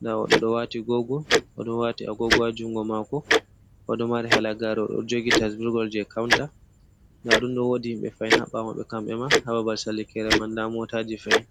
nda oɗo oɗo wati agogo oɗo wati a gogowa jungo mako, oɗo mari halagare, oɗo jogi tasburgol je kaunta, nda ɗumɗo, wodi himbe fahin ha ɓawo maɓɓe kamɓe ma ha babal sallikerem nda motaji fahin.